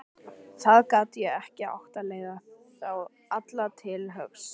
Það gat ekki átt að leiða þá alla til höggs.